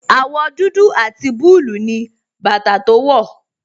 Àwọ̀ dúdú àti búlúù ni bàtà tó wọ̀.